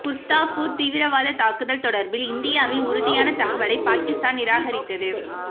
குர்தாஸ்பூர் தீவிரவாத தாக்குதல் தொடர்பில் இந்தியாவின் உறுதியான தகவலை பாகிஸ்தான் நிராகரித்தது